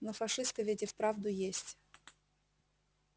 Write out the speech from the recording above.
но фашисты ведь и вправду есть